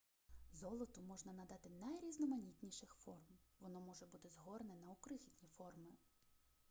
золоту можна надати найрізноманітніших форм воно може бути згорнено у крихітні форми